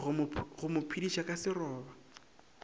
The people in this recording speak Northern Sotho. go mo phediša ka seroba